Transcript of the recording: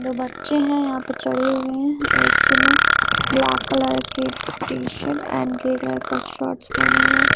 दो बच्चे हैं यहां पे चढ़े हुए हैं एक ने ब्लैक कलर के T shirt and grey colour का शॉर्ट्स पहना हुआ है।